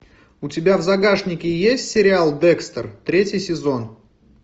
у тебя в загашнике есть сериал декстер третий сезон